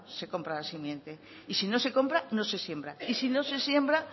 se comprar la simiente y si no se compra no se siembra y si no se siembra